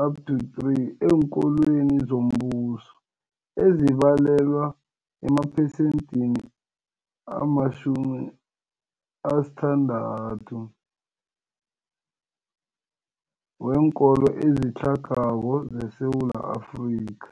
1-3 eenkolweni zombuso, ezibalelwa emaphesenthini 60 weenkolo ezitlhagako zeSewula Afrika.